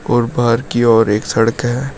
और बाहर की ओर एक सड़क है।